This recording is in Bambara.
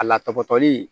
A la tɔgɔtɔli